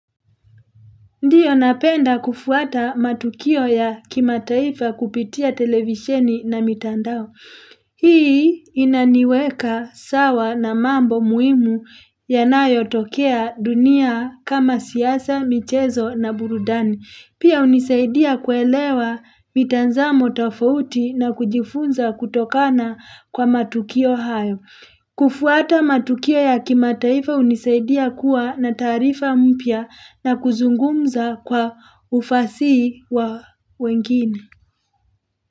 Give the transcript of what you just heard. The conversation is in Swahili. Ndiyo napenda kufuata matukio ya kimataifa kupitia televisheni na mitandao. Hii inaniweka sawa na mambo muimu yanayotokea dunia kama siasa, michezo na burudani. Pia unisaidia kuelewa mitanzamo tofauti na kujifunza kutokana kwa matukio hayo. Kufuata matukuo ya kimataifa unisaidia kuwa na taarifa mpya na kuzungumza kwa ufasihi wa wengine.